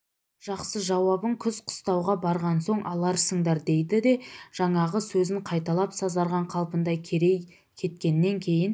жақсы жауабын күз қыстауға барған соң аларсыңдар дейді жаңағы сөзін қайталап сазарған қалпында керей кеткеннен кейін